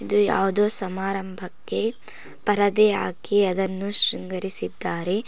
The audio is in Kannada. ಇದು ಯಾವ್ದೋ ಸಮಾರಂಭಕ್ಕೆ ಪರದೆ ಹಾಕಿ ಅದನ್ನು ಶೃಂಗರಿಸಿದ್ದಾರೆ.